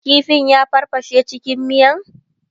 kifin ya farfashe cikin miyan?